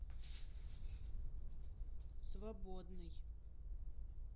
свободный